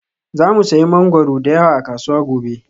Za mu sayi mangwaro da yawa a kasuwa gobe